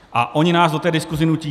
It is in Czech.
A oni nás do té diskuze nutí.